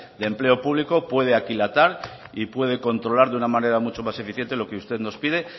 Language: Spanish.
de empleo público puede aquilatar y puede controlar de una manera mucho más eficiente lo que usted nos pide